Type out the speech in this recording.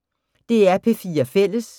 DR P4 Fælles